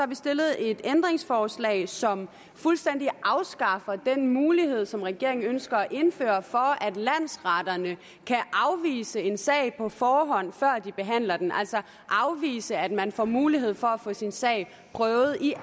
vi stillet et ændringsforslag som fuldstændig afskaffer den mulighed som regeringen ønsker at indføre for at landsretterne kan afvise en sag på forhånd før de behandler den altså afvise at man får mulighed for at få sin sag prøvet i